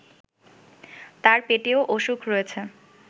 তার পেটেও অসুখ রয়েছে